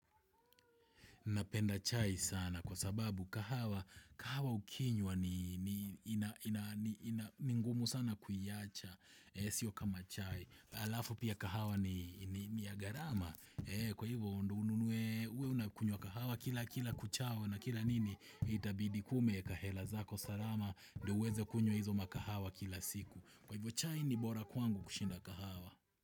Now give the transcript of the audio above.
Napenda chai sana kwa sababu kahawa, kahawa ukinywa ni ngumu sana kuiacha, sio kama chai. Alafu pia kahawa ni ya garama, kwa hivyo ununue, uwe unakunywa kahawa kila kila kuchao na kila nini, itabidi kuwa umeeka hela zako salama, ndo uweze kunywa hizo makahawa kila siku. Kwa hivyo chai ni bora kwangu kushinda kahawa.